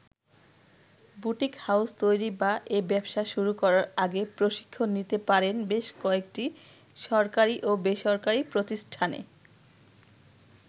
Boutique house তৈরি বা এ ব্যবসা শুরু করার আগে প্রশিক্ষণ নিতে পারেন বেশ কয়েকটি সরকারি ও বেসরকারি প্রতিষ্ঠানে।